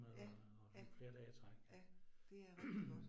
Ja, ja, ja det er rigtig godt